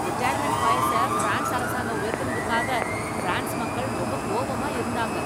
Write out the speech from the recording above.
retirement வயசை France அரசாங்கம் உயர்த்தினதுக்காக ஃபிரான்ஸ் மக்கள் ரொம்ப கோவமா இருந்தாங்க